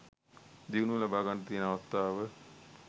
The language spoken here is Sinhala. දියුණුව ලබාගන්නට තියෙන අවස්ථාව